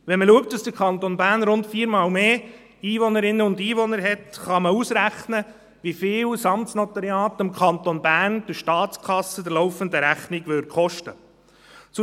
Wenn man berücksichtigt, dass der Kanton Bern rund viermal mehr Einwohnerinnen und Einwohner hat, kann man ausrechnen, wie viel das Amtsnotariat den Kanton Bern, die Staatskasse, die laufende Rechnung kosten würde.